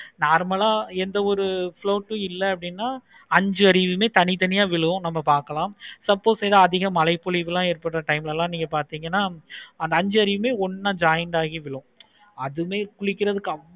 normal ஆஹ் எந்த ஒரு float இல்லைனா அஞ்சு அருவியும் தனி தனியா விழுங்கும் நம்ம பார்க்கலாம். suppose எது அதிக மழை பொலிவு time ல எல்லாம் பார்த்தீங்கன்னா அந்த அஞ்சு அறிவும் ஒண்ணா join ஆகி விழும். அதுவே குளிக்கிறதுக்கு